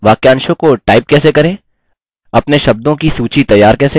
वाक्यांशों को टाइप कैसे करें अपने शब्दों की सूची तैयार कैसे करें